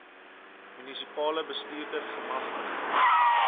munisipale bestuurder gemagtig